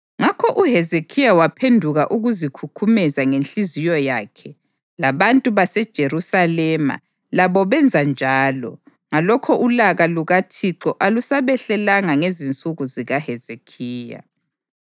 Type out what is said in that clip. Ngakho uHezekhiya waphenduka ukuzikhukhumeza ngenhliziyo yakhe, labantu baseJerusalema labo benza njalo; ngalokho ulaka lukaThixo alusabehlelanga ngezinsuku zikaHezekhiya.